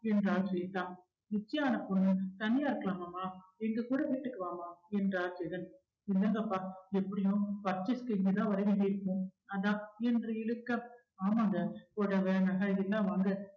என்றாள் ஸ்வேத்தா நிச்சியான பொண்ணு தனியா இருக்கலாமாமா எங்க கூட வீட்டுக்கு வாம்மா என்றார் ஜெகன் இல்லங்கப்பா எப்படியும் purchase க்கு இங்கதான் வரவேண்டி இருக்கும் அதான் என்று இழுக்க ஆமாங்க புடவ நகை இதெல்லாம் வாங்க